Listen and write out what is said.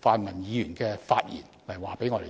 泛民議員的發言轉告我們。